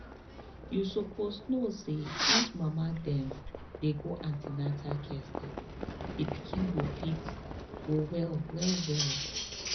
you suppose know say if mama dem dey go an ten atal care steady the pikin go fit go well well